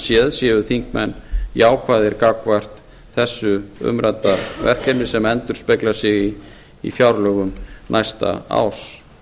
séð séu þingmenn jákvæðir gagnvart þessu umrædda verkefni sem endurspeglar sig í fjárlögum næsta árs